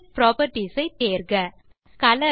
object properties ஐ தேர்க